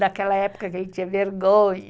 Daquela época que ele tinha vergonha.